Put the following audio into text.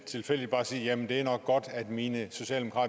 orientering og